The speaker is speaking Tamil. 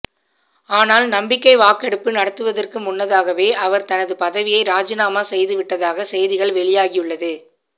ஆனால் நம்பிக்கை வாக்கெடுப்பு நடத்துவதற்கு முன்னதாகவே அவர் தனது பதவியை ராஜினாமா செய்து விட்டதாக செய்திகள் வெளியாகியுள்ளது